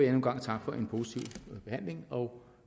en gang takke for en positiv behandling og